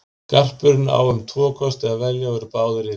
Garpurinn á um tvo kosti að velja og eru báðir illir.